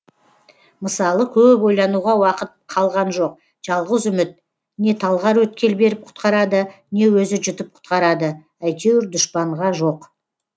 мысалы көп ойлануға уақыт қалған жоқ жалғыз үміт не талғар өткел беріп құтқарады не өзі жұтып құтқарады әйтеуір дұшпанға жоқ